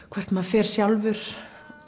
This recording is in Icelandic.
hvert maður fer sjálfur